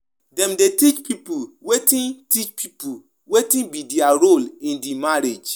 Dem um de discourage pipo from doing work wey no agree with their um faith